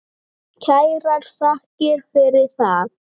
Kærar þakkir fyrir það.